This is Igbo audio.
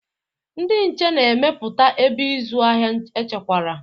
Ndị nche na-emepụta ebe ịzụ ahịa echekwara.